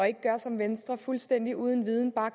ikke gøre som venstre fuldstændig uden viden